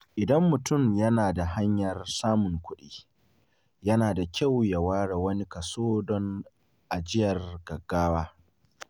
Idan mutum yana da hanyar samun kuɗi, yana da kyau ya ware wani kaso don ajiyar gaggawa.